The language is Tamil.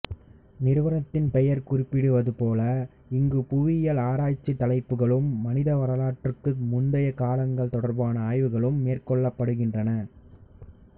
நிறுவனத்தின் பெயர் குறிப்பிடுவது போல இங்கு புவியியல் ஆராய்ச்சித் தலைப்புகளும் மனித வரலாற்றுக்கு முந்தைய காலங்கள் தொடர்பான ஆய்வுகளும் மேற்கொள்ளப்படுகின்றன